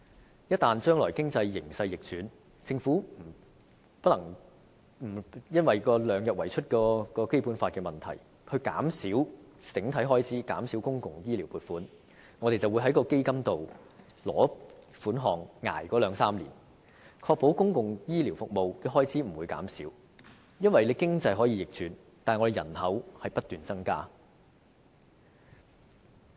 將來一旦經濟形勢逆轉，政府基於《基本法》所訂量入為出的原則，必須減少整體開支和公共醫療撥款時，我們便可透過基金撥款，應付日後兩三年的開支，以確保公共醫療服務的開支不會減少，因為經濟可以逆轉，但人口卻不斷增加。